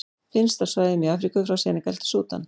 Finnst á svæðum í Afríku frá Senegal til Súdan.